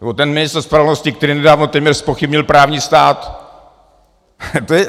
Nebo ten ministr spravedlnosti, který nedávno téměř zpochybnil právní stát...